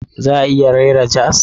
Za a iya rera jazz?